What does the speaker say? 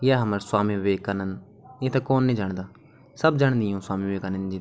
या हमर स्वामी विवेक नन्द इन्थे कौन नी जन्दा सब जन्दी यूँ स्वामी विवेकानंद जी थे ।